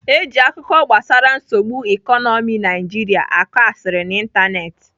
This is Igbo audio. Eji akụkọ gbasara nsogbu ikonomi Nigeria akọ asịrị n'Ịntanetị.